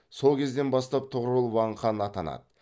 сол кезден бастап тұғырыл ван хан атанады